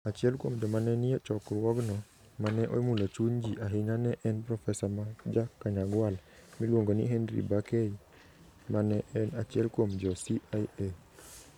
Achiel kuom joma ne nie chokruogno ma ne omulo chuny ji ahinya, ne en profesa ma Ja-Kanyagwal miluongo ni Henry Barkey, ma ne en achiel kuom jo CIA.